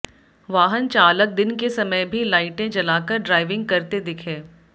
वाहन चालक दिन के समय भी लाइटें जलाकर ड्राइविंग करते दिखे